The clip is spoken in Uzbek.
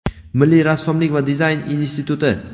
Milliy rassomlik va dizayn instituti;.